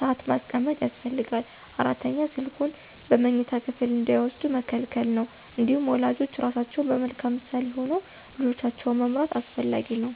ሰአት ማስቀመጥ ያስፈልጋል። አራተኛ ስልኩን በመኝታ ክፍል እንዳይወስዱ መከልከል ነው። እንዲሁም ወላጆች ራሳቸው በመልካም ምሳሌ ሆነው ልጆቻቸውን መምራት አስፈላጊ ነው።